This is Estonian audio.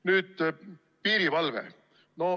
Nüüd piirivalve.